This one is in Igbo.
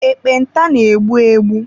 Ekpenta na-egbu egbu.